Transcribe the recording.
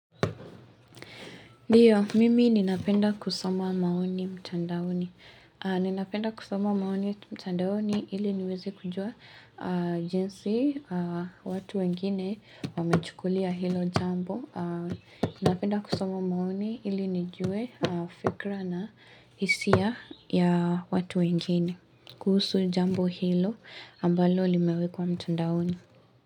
Ndiyo, mimi ninapenda kusoma maoni mtandaoni. Ninapenda kusoma maoni mtandaoni ili niweze kujua jinsi watu wengine wamechukulia hilo jambo. Ninapenda kusoma maoni ili nijue fikra na hisia ya watu wengine. Kuhusu jambo hilo ambalo limewekwa mtandaoni.